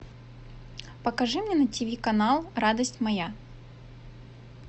покажи мне на ти ви канал радость моя